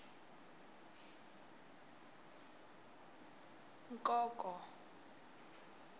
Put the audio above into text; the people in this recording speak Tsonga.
nkonko